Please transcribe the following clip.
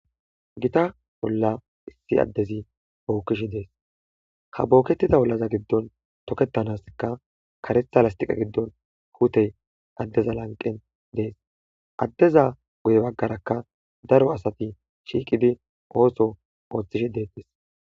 Gita bolla issi addezi bookishi dees ha bookettida bollaza giddon tokettanaska karetha lastiqa giddon huutey addeza lanqen dees addeza guye baggarakka daro asati shiiqidi ooso ooththishi deettis.